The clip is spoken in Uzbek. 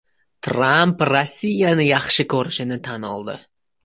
Tramp Rossiyani yaxshi ko‘rishini tan oldi.